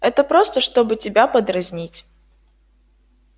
это просто чтобы тебя подразнить